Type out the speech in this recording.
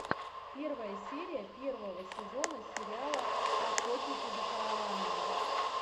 первая серия первого сезона сериала охотники за караванами